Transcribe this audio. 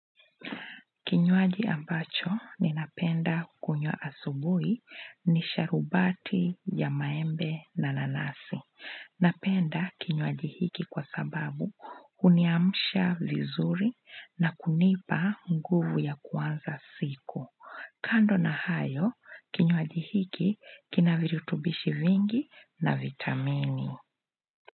Kinywaji ambacho ninapenda kunywa asubuhi ni sharubati ya maembe na nanasi. Napenda kinywaji hiki kwa sababu huniamsha vizuri na kunipa nguvu ya kuanza siku. Kando na hayo, kinywaji hiki kina virutubishi vingi na vitamini.